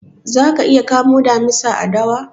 Za ka iya kamo damisa a dawa?